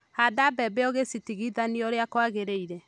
Handa mbembe ũgĩcitigithania ũrĩa kũagĩrĩire.